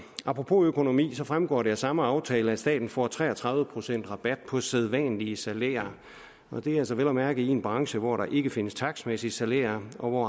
apropos økonomi fremgår det af samme aftale at staten får tre og tredive procent i rabat på sædvanlige salærer og det er altså vel at mærke i en branche hvor der ikke findes takstmæssige salærer og